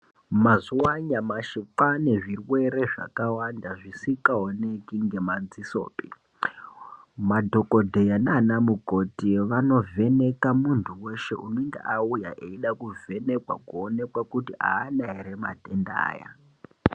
Mazuva anyamashi kwaane zvirwere zvakawanda zvisikaoneki ngemadzisopi madhokodheya nanamukoti vanovheneka muntu weshe unenge auya eida kuvhenekwa kuonekwa kuti aana here matenda aya.